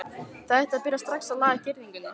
Þið ættuð að byrja strax að laga girðinguna.